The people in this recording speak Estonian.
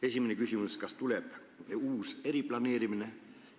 Esimene küsimus: kas tehakse uus eriplaneering?